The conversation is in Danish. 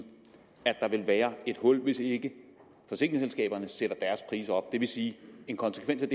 at der vil være et hul hvis ikke forsikringsselskaberne sætter deres priser op det vil sige at en konsekvens